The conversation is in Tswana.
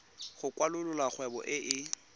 go kwalolola kgwebo e e